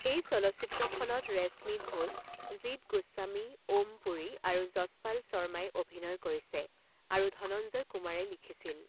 এই চলচ্চিত্ৰখনত ৰেশ্মী ঘোষ, জিত গোস্বামী, ওম পুৰী আৰু যশপাল শৰ্মাই অভিনয় কৰিছে আৰু ধনঞ্জয় কুমাৰে লিখিছিল।